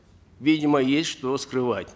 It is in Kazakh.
видимо есть что скрывать